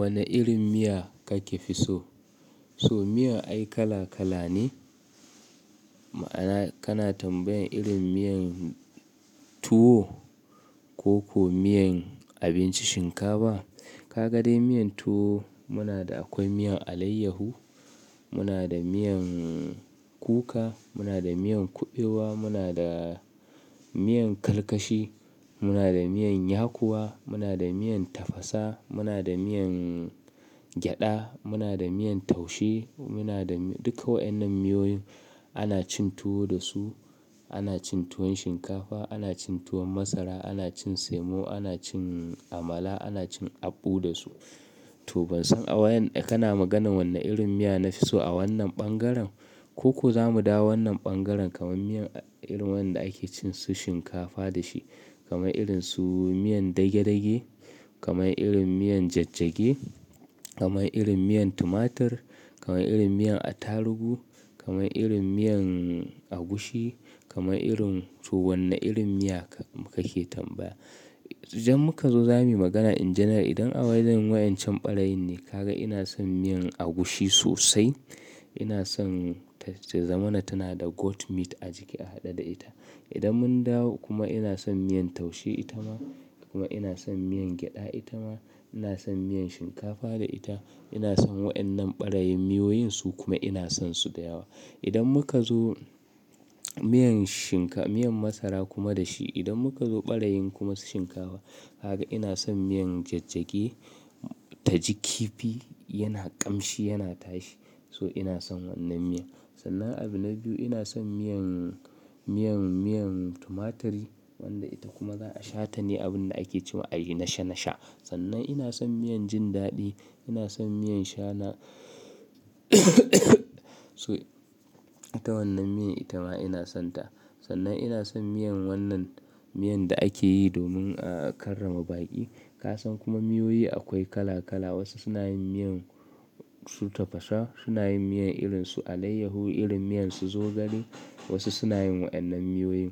Wane irin miya kake fi so? So miya ai kala kala ne. Ma'ana kana tambayan irin miyan tuwo ko ko miyan abinci shinkafa? Ka ga dai miyan tuwo muna da akwai miyan alayyahu, muna da miyan kuka, muna da miyan kuɓewa, muna da miyan karkashi, muna da miyan yakuwa, muna da miyan tafasa, muna da miyan gyada, muna da miyan taushe, muna da duka wa'innan miyoyin ana cin tuwo da su. Ana cin tuwon shinkafa, ana cin tuwon masara, ana cin semo, ana cin amala, ana cin abbu da su. To ban san a wayen kana maganan wanne irin miya na fi so a wannan bangaren ko ko zamu dawo wannan bangaren kamar miyan irin wadanda ake cin su shinkafa da shi kamar irin su miyan dage dage, kamar irin miyan jajjagi, kamar irin miyan tumatir, kamar irin miyan attarugu, kamar irin miyan agushi, kamar irin to wanne irin miya kake tambaya? Idan muka zo zamuyi magana in general idan a wayen wa'yan camɓarayin ne ka ga ina son miyan agushi sosai. Ina son ta ta zamana tana da goat meat a ciki a haɗe da ita. Idan mun dawo kuma ina son miyan taushe ita ma kuma ina son miyan gyada ita ma, ina son miyan shinkafa da ita. Ina son wa'yan nan ɓarayin miyoyin su kuma ina sonsu da yawa. Idan muka zo miyan shin ka-- miyan masara kuma da shi idan muka zo ɓarayin kuma su shinkafa haka ina son miyan jajjagi ta ji kifi yana ƙamshi yana tashi so ina son wannan miya. Sannan abu na biyu ina son miyan, miyan, miyan tumaturi wanda ita kuma za a shata ne abun da ake ce ma a yi nasha nasha. Sannan ina son miyan jin daɗi, ina son miyan shana so ita wannan miyan ita ma ina son ta. Sannan ina son miyan wannan miyan da ake yi domin a karrama baƙi. Ka san kuma miyoyi akwai kala kala wasu suna yin miyan su tafasa, suna yin miyan irin su alayyaho, irin miyan su zogale wasu suna yin wa'yan nan miyoyin.